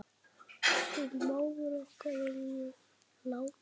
Axel mágur okkar er látinn.